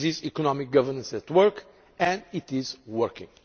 This is economic governance at work. And it is working.